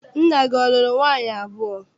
Nna gị a lụrụ nwaanyị abụọ?